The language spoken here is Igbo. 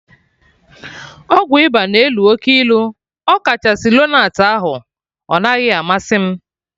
Ọgwụ ịba na elu oke ilu, ọkachasị lonart ahụ, ọ naghị amasị m